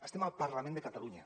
estem al parlament de catalunya